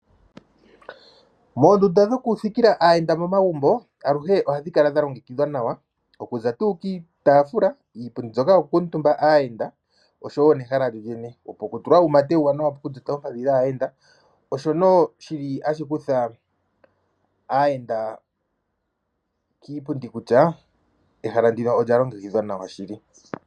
Moondunda dhokuthikila aayenda momagumbo aluhe ohadhi kala dha longekidhwa nawa okuza tuu kiitaafula, kiipundi mbyoka yoku kuutumba aayenda oshowo nehala lyo lyene. Hapu tulwa wo uumate uuwanawa poompadhi dhaayenda, osho nduno shili hashi kutha aayenda kiipundi kutya ehala ndino olya longekidhwa nawa shili.